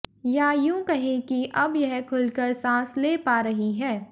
या यूं कहें कि अब यह खुलकर सांस ले पा रही है